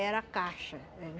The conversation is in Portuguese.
Era caixa era